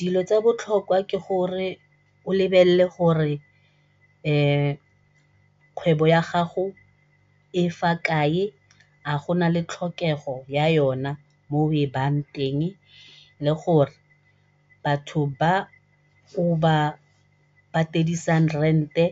Dilo tsa botlhokwa ke gore o lebelele gore kgwebo ya gago e fa kae a go nale tlhokego ya yona mo o e bayang teng, le gore batho ba o ba patedisang rent-e